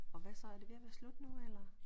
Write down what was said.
Og hvad så er det ved at være slut nu eller?